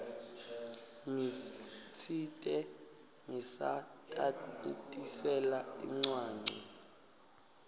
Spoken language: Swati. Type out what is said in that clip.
ngitsite ngisatitamatisela incwancwa